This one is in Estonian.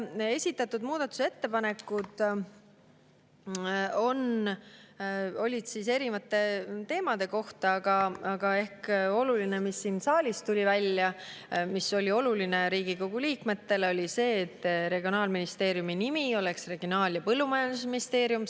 Esitatud muudatusettepanekud on erinevate teemade kohta, aga nagu siin saalis välja tuli, väga oluline Riigikogu liikmetele oli see, et Regionaalministeeriumi nimi oleks Regionaal- ja Põllumajandusministeerium.